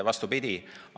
Vastupidi!